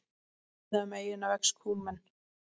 Víða um eyjuna vex kúmen.